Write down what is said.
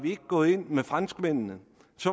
gået ind sammen med franskmændene